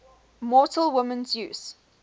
mortal women of zeus